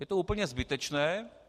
Je to úplně zbytečné.